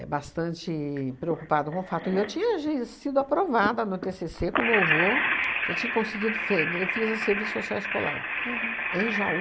É bastante preocupado com o fato, e eu tinha je sido aprovada no tê cê cê com louvor, já tinha conseguido, fe eu fiz na serviço social escolar em Jaú.